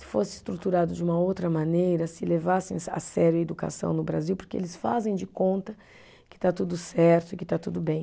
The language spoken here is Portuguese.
Se fosse estruturado de uma outra maneira, se levassem a sério a educação no Brasil, porque eles fazem de conta que está tudo certo e que está tudo bem.